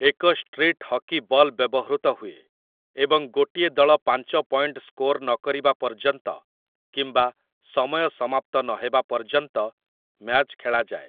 ଏକ street hockey ball ବ୍ୟବହୃତ ହୁଏ, ଏବଂ ଗୋଟିଏ ଦଳ ପାଞ୍ଚ ପଏଣ୍ଟ ସ୍କୋର ନକରିବା ପର୍ଯ୍ୟନ୍ତ କିମ୍ବା ସମୟ ସମାପ୍ତ ନହେବା ପର୍ଯ୍ୟନ୍ତ ମ୍ୟାଚ୍ ଖେଳାଯାଏ ।